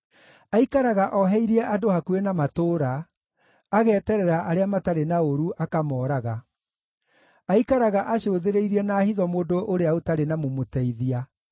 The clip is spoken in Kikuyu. Aikaraga oheirie andũ hakuhĩ na matũũra: ageterera arĩa matarĩ na ũũru akamooraga, aikaraga acũthĩrĩirie na hitho mũndũ ũrĩa ũtarĩ na mũmũteithia.